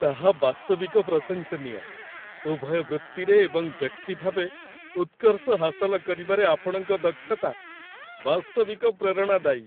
ତାହା ବାସ୍ତବିକ ପ୍ରଶଂସନୀୟ। ଉଭୟ ବୃତ୍ତିରେ ଏବଂ ବ୍ୟକ୍ତି ଭାବେ ଉତ୍କର୍ଷ ହାସଲ କରିବାରେ ଆପଣଙ୍କ ଦକ୍ଷତା ବାସ୍ତବିକ ପ୍ରେରଣାଦାୟୀ।